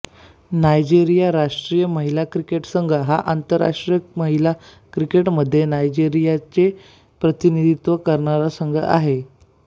Nigeria राष्ट्रीय महिला cricket संघ हा आंतरराष्ट्रीय महिला क्रिकेटमध्ये नायजेरियाचे प्रतिनिधित्व करणारा संघ आहे